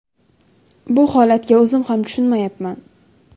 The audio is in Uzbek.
Bu holatga o‘zim ham tushunmayapman.